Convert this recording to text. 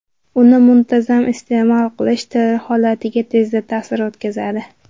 Uni muntazam iste’mol qilish teri holatiga tezda ta’sir o‘tkazadi.